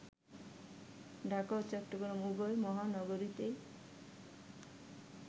ঢাকা ও চট্টগ্রাম উভয় মহানগরীতেই